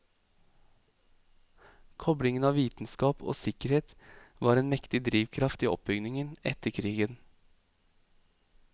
Koblingen av vitenskap og sikkerhet var en mektig drivkraft i oppbyggingen etter krigen.